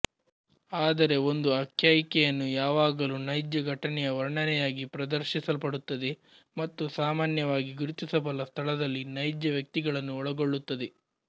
ಆದರೆ ಒಂದು ಆಖ್ಯಾಯಿಕೆಯನ್ನು ಯಾವಾಗಲೂ ನೈಜ ಘಟನೆಯ ವರ್ಣನೆಯಾಗಿ ಪ್ರದರ್ಶಿಸಲ್ಪಡುತ್ತದೆ ಮತ್ತು ಸಾಮಾನ್ಯವಾಗಿ ಗುರುತಿಸಬಲ್ಲ ಸ್ಥಳದಲ್ಲಿ ನೈಜ ವ್ಯಕ್ತಿಗಳನ್ನು ಒಳಗೊಳ್ಳುತ್ತದೆ